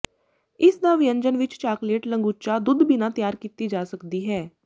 ਇਸ ਦਾ ਵਿਅੰਜਨ ਵਿੱਚ ਚਾਕਲੇਟ ਲੰਗੂਚਾ ਦੁੱਧ ਬਿਨਾ ਤਿਆਰ ਕੀਤੀ ਜਾ ਸਕਦੀ ਹੈ